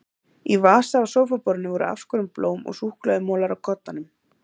Í vasa á sófaborðinu voru afskorin blóm og súkkulaðimolar á koddanum.